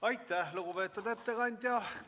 Aitäh, lugupeetud ettekandja!